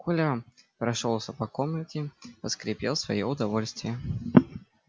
коля прошёлся по комнате поскрипел в своё удовольствие